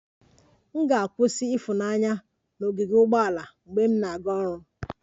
M ga-adọba ifunanya na ogige ugboala na ụzọ m na-arụ ọrụ